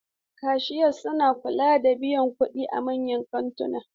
Kashiya suna kula da biyan kuɗi a manyan kantuna.